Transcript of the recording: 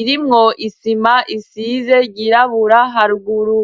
irimwo isima isize ryirabura haruguru.